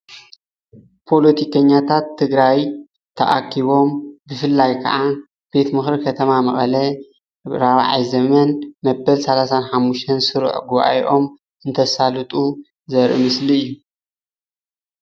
ፖለቲከኛታት ትግራይ ተኣኪቦም ብፍላይ ከዓ ቤት ምክሪ ከተማ መቐለ ንራብዓይ ዘመን መበል ሰላሳን ሓሙሽተን ስሩዕ ጉባኤኦም እንተሳልጡ ዘርኢ ምስሊ እዩ፡፡